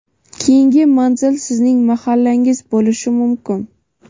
keyingi manzil sizning mahallangiz bo‘lishi mumkin!.